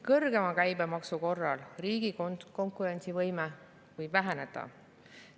Kõrgema käibemaksu korral riigi konkurentsivõime võib väheneda.